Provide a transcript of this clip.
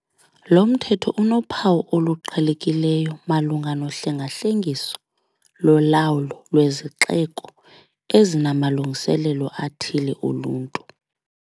Lo mthetho unophawu oluqhelekileyo malunga nohlengahlengiso lolawulo lwezixeko ezinamalungiselelo athile oluntu.